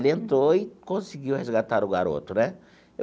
Ele entrou e conseguiu resgatar o garoto, né?